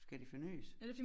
Skal det fornys?